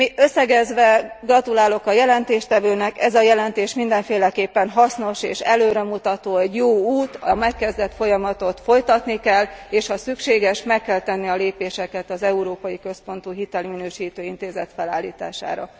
Összegezve, gratulálok a jelentéstevőnek, ez a jelentés mindenféleképpen hasznos és előremutató, egy jó út, a megkezdett folyamatot folytatni kell, és ha szükséges meg kell tenni a lépéseket az európai központú hitelminősítő intézet felállítására.